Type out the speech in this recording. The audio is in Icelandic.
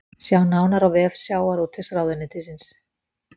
Sjá nánar á vef sjávarútvegsráðuneytisins